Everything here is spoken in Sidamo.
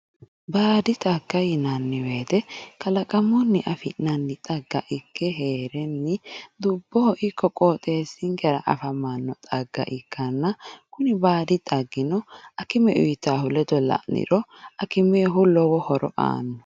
baadi xagga yinnanni wote kalaqamunni afi'nannita ikke heerenni dubboho ikko qooxeessinkera afamanno xagga ikkanna kuni baadi xagga akime uyiitannohu ledo la'niro akimennihu lowo horo aanno.